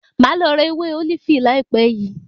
Màá lọ ra ewé ólífì láìpẹ́ yìí.